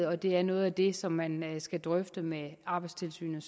og det er noget af det som man som nævnt skal drøfte med arbejdstilsynet